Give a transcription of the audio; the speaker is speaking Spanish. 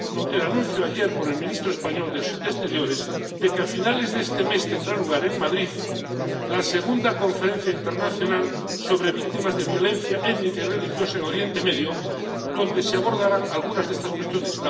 el anuncio ayer por el ministro español de Exteriores de que, a finales de este mes, tendrá lugar en Madrid la segunda Conferencia Internacional sobre víctimas de violencia étnica y religiosa en Oriente Medio, donde se abordarán algunas de estas cuestiones.